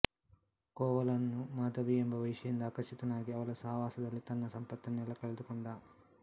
ಕೋವಲನ್ ನು ಮಾಧವಿ ಎಂಬ ವೇಶ್ಯೆಯಿಂದ ಆಕರ್ಷಿತನಾಗಿ ಅವಳ ಸಹವಾಸದಲ್ಲಿ ತನ್ನ ಸಂಪತ್ತನ್ನೆಲ್ಲ ಕಳೆದುಕೊಂಡ